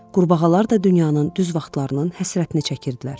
Qurbağalar da dünyanın düz vaxtlarının həsrətini çəkirdilər.